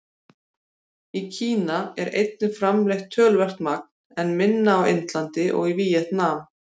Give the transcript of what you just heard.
Í Kína er einnig framleitt töluvert magn, en minna á Indlandi og í Víetnam.